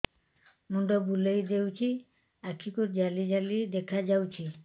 ମୁଣ୍ଡ ବୁଲେଇ ଦେଉଛି ଆଖି କୁ ଜାଲି ଜାଲି ଦେଖା ଯାଉଛି